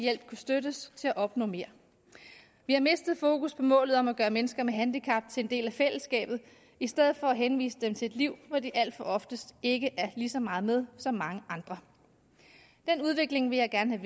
hjælp kunne støttes til at opnå mere vi har mistet fokus på målet om at gøre mennesker med handicap til en del af fællesskabet i stedet for at henvise dem til at liv hvor de alt for oftest ikke er lige så meget med som mange andre den udvikling vil jeg gerne